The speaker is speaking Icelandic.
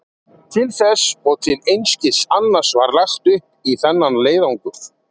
Til þess og til einskis annars var lagt upp í þennan leiðangur.